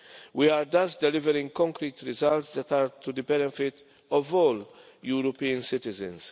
We are thus delivering concrete results that are to the benefit of all European citizens.